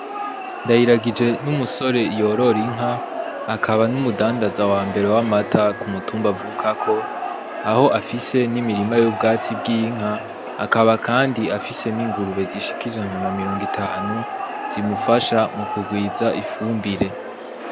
Ndayiragije ni umusore yorora inka akaba n'umudandaza wambere w'amata ku mutumba avukako aho afise nimirima y'ubwatsi bw'inka akaba kandi afise n’ingurube zishika ijana na mirongo itanu zimufasha kugwiza ifumbire.